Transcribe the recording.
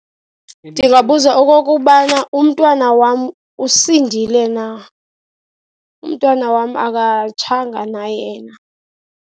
Ndingabuza okokubana umntwana wam usindile na, umntwana wam akatshanga na yena.